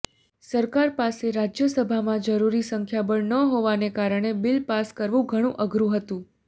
સરકાર પાસે રાજ્યસભામાં જરૂરી સંખ્યાબળ ન હોવાને કારણે બિલ પાસ કરવું ઘણું અઘરૂ હતું